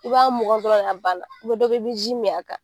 I b'a mukan dɔrɔn a banna dɔ be ji min a kan